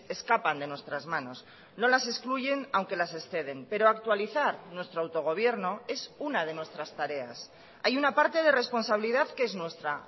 escapan de nuestras manos no las excluyen aunque las exceden pero actualizar nuestro autogobierno es una de nuestras tareas hay una parte de responsabilidad que es nuestra